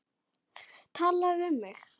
Talaðu við mig!